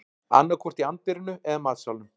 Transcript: Annaðhvort í anddyrinu eða matsalnum